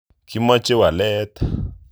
Kimoche walet .